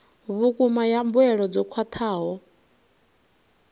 vhukuma ya mbuelo dzo khwathaho